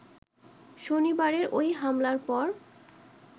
শনিবারের ঐ হামলার পর